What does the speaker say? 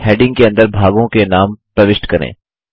अब हेडिंग के अंदर भागों के नाम प्रविष्ट करें